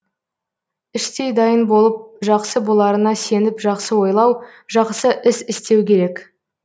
іштей дайын болып жақсы боларына сеніп жақсы ойлау жақсы іс істеу керек